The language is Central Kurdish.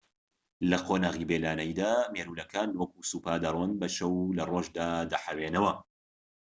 لە قۆناغی بێ لانەییدا مێروولەکان وەکو سوپا دەڕۆن بە شەو و لەڕۆژدا دەحەوێنەوە